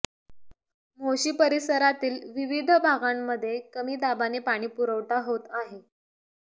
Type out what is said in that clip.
मोशी परिसरातील विविध भागांमध्ये कमी दाबाने पाणीपुरवठा होत आहे